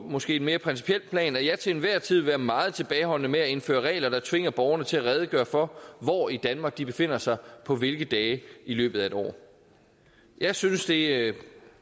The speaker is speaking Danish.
måske mere principielt plan at jeg til enhver tid vil være meget tilbageholdende med at indføre regler der tvinger borgerne til at redegøre for hvor i danmark de befinder sig på hvilke dage i løbet af et år jeg synes det